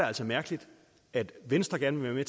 altså mærkeligt at venstre gerne vil være